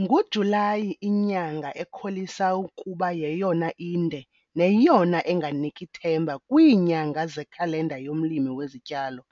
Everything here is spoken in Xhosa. NguJulayi inyanga ekholisa ukuba yeyona inde neyona enganiki themba kwiinyanga zekhalenda yomlimi wezityalo.